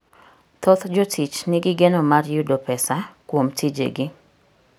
Thoth jotich nigi geno mar yudo pesa kuom tijegi.